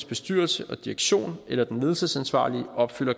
bestyrelse og direktion eller den ledelsesansvarlige opfylder